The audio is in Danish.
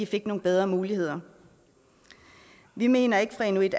fik nogle bedre muligheder vi mener ikke fra inuit